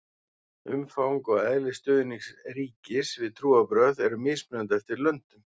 umfang og eðli stuðnings ríkis við trúarbrögð eru mismunandi eftir löndum